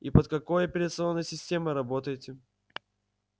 и под какой операционной системой работаете